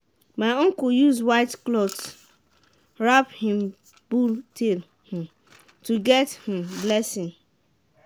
my uncle use white cloth wrap him bull tail um to get um blessing.